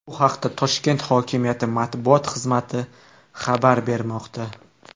Bu haqda Toshkent hokimiyati matbuot xizmati xabar bermoqda.